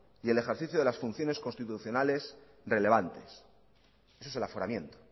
y el ejercicio de las funciones constitucionales relevantes eso es el aforamiento